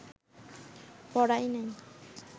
পড়াই নাই